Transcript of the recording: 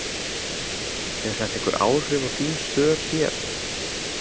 Hefur þetta einhver áhrif á þín stör hér?